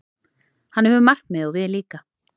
Hann hefur markmið, og við líka.